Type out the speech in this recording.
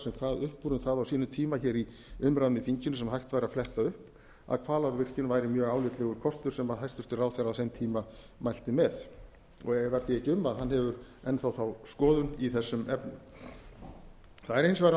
sem kvað upp úr um það á sínum tíma hér í umræðum í þinginu sem hægt væri að fletta upp að hvalárvirkjun væri mjög álitlegur kostur sem hæstvirtur ráðherra á þeim tíma mælti með efast ég ekki um að hann hefur enn þá þá skoðun i þessum efnum það er hins vegar